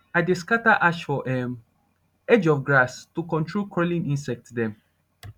i de scatter ash for um edge of grass to control crawling insect dem